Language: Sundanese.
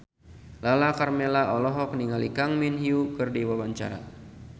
Lala Karmela olohok ningali Kang Min Hyuk keur diwawancara